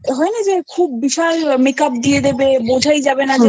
যে খুব বিশাল Makeup দিয়ে দেবে বোঝাই যাবে না যে হু হু